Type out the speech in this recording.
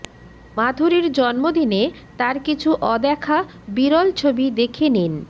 মাধুরীর জন্মদিনে তাঁর কিছু অদেখা বিরল ছবি দেখে নিন